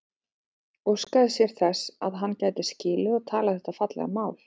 Óskaði sér þess að hann gæti skilið og talað þetta fallega mál.